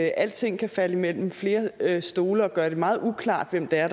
alting kan falde mellem flere stole og at gøre det meget uklart hvem det er